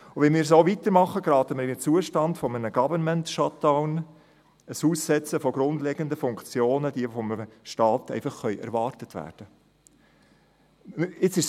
Wenn wir so weitermachen, geraten wir in einen Zustand eines «Government Shutdown», eines Aussetzens der grundlegenden Funktionen, die von einem Staat erwartet werden können.